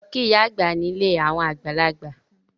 Lọ kí ìyá àgbà ní ilé àwọn àgbàlagbà!